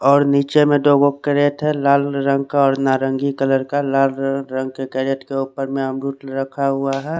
और निच्चे में करे थे लाल रंगा का और नारंगी कलर का लाल रंग के कैरेट में अमरूद रखा हुआ है।